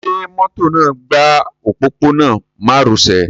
Ṣẹ mọ́tò náà gba òpópónà mároṣẹ̀?